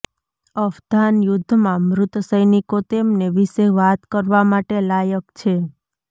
અફઘાન યુદ્ધમાં મૃત સૈનિકો તેમને વિશે વાત કરવા માટે લાયક છે